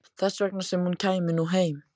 Þess vegna sem hún kæmi nú heim.